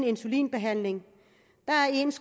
insulinbehandling